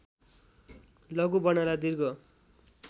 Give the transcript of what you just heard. लघु वर्णलाई दीर्घ